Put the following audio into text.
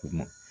Kuma